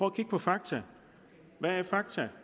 at kigge på fakta hvad er fakta